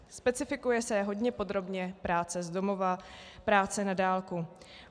Specifikuje se hodně podrobně práce z domova, práce na dálku.